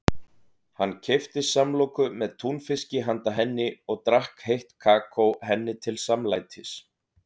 Hann keypti samloku með túnfiski handa henni og drakk heitt kakó henni til samlætis.